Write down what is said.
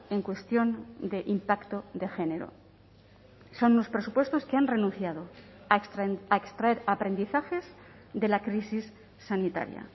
en cuestión de impacto de género son unos presupuestos que han renunciado a extraer aprendizajes de la crisis sanitaria